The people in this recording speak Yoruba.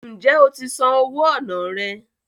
Ǹjẹ́ o ti san owó ọnà rẹ?